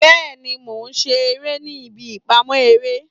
Bẹẹni, Mo ṣe ere ni ibi ipamọ ere